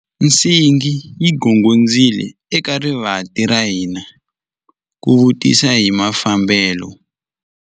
Nsingi yi gongondzile eka rivanti ra hina ku vutisa hi mafambelo.